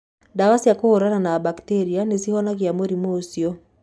Ndawa cia kũhũrana na mbakitĩria nĩ cihonagia mũrimũ ũcio.